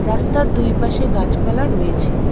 রাস্তার দুই পাশে গাছপালা রয়েছে।